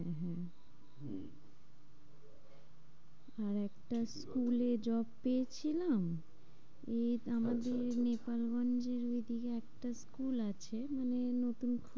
আরেকটা school এ job পেয়েছিলাম এ আচ্ছা আমাদের নেপালগঞ্জের ওইদিকে একটা school আছে। মানে ওই নতুন